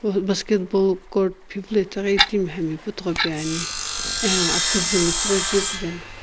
basketball court pheviilo etaghi itime putho peane ano apikuzu metsughoi kue puveno.